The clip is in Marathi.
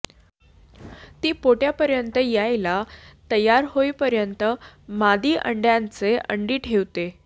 ती पोटापर्यंत यायला तयार होईपर्यंत मादी अंड्याचे अंडी ठेवते